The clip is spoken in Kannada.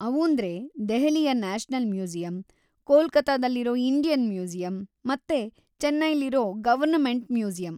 ಅವೂಂದ್ರೆ ದೆಹಲಿಯ ನ್ಯಾಷನಲ್‌ ಮ್ಯೂಸಿಯಂ, ಕೊಲ್ಕತಾದಲ್ಲಿರೋ ಇಂಡಿಯನ್‌ ಮ್ಯೂಸಿಯಂ ಮತ್ತೆ ಚೆನೈಲಿರೋ ಗವರ್ನ್ಮೆಂಟ್‌ ಮ್ಯೂಸಿಯಂ.